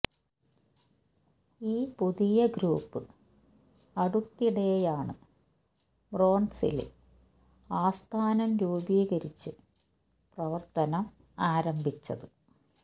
ഈ പുതിയ ഗ്രൂപ്പ് അടുത്തിടെയാണ് ബ്രോണ്സില് ആസ്ഥാനം രൂപീകരിച്ചു പ്രവര്ത്തനം ആരംഭിച്ചത്